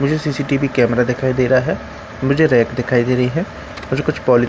मुझे CCTV camera दिखाई दे रहा है मुझे रैक दिखाई दे रही है और कुछ पॉलि--